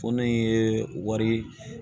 Fɔnɔ in ye wari